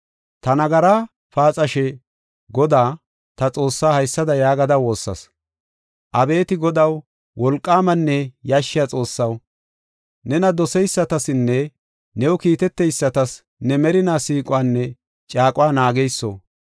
Ta nagara paaxashe, Godaa, ta Xoossaa haysada yaagada woossas. “Abeeti Godaw, wolqaamanne yashshiya Xoossaw, nena doseysatasinne new kiiteteysatas ne merinaa siiquwanne caaquwa naageyso,